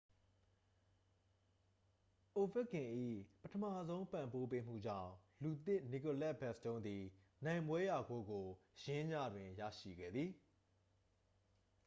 အိုဗက်ကင်၏ ပထမဆုံး ပံ့ပိုးပေးမှုကြောင့် လူသစ် နီကိုလက် ဘက်စတုန်းသည် နိုင်ပွဲရဂိုးကို ယင်းညတွင် ရရှိခဲ့သည်